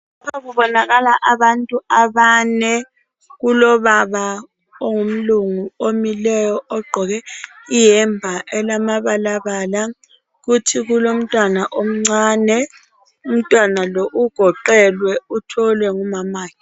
Lapha kubonakala abantu abane, kulobaba ongumlungu ogqoke iyembe elamabalabala. Kuthi kulomntwana omncane. Umntwana lo ugoqelwe uthwelwe ngumamakhe.